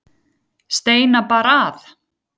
Steina bar að.